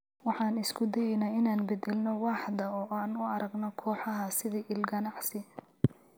Waxaan isku dayeynaa inaan beddelno waaxda oo aan u aragno kooxaha sidii il ganacsi.